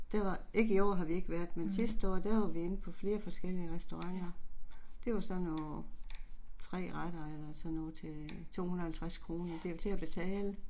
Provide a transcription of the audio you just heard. Der var, ikke i år har vi ikke været men sidste år der var vi inde på flere forskellige restauranter. Det var sådan noget 3 retter eller sådan noget til 250 kroner, det er jo til at betale